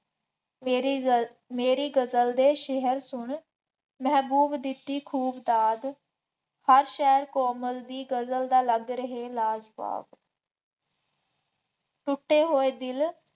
ਮੇਰੀ ਗੱਲ, ਮੇਰੀ ਗਜ਼ਲ ਦੇ ਸ਼ੇਅਰ ਸੁਣ ਮਹਿਬੂਬ ਦਿੱਤੀ ਖੂਬ ਦਾਤ, ਹਰ ਸ਼ਹਿਰ ਕੋਮਲ ਦੀ ਗਜ਼ਲ ਦਾ ਲੱਗ ਰਹੇ ਲਾਜਵਾਬ, ਟੁੱਟੇ ਹੋਏ ਦਿਲ